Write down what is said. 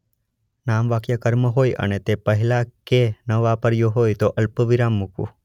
નામવાક્ય કર્મ હોય અને તે પહેલાં કે ન વાપર્યો હોય તો અલ્પવિરામ મૂકવું.